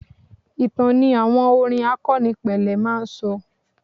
Ìtàn ni àwọn orin àkọnípele máa ń sọ.